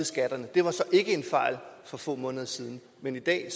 skatterne det var så ikke en fejl for få måneder siden men i dag